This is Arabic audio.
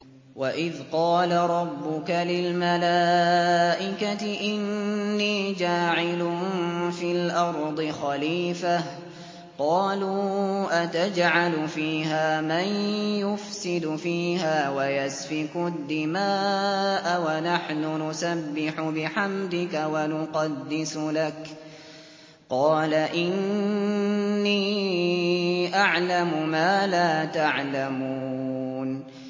وَإِذْ قَالَ رَبُّكَ لِلْمَلَائِكَةِ إِنِّي جَاعِلٌ فِي الْأَرْضِ خَلِيفَةً ۖ قَالُوا أَتَجْعَلُ فِيهَا مَن يُفْسِدُ فِيهَا وَيَسْفِكُ الدِّمَاءَ وَنَحْنُ نُسَبِّحُ بِحَمْدِكَ وَنُقَدِّسُ لَكَ ۖ قَالَ إِنِّي أَعْلَمُ مَا لَا تَعْلَمُونَ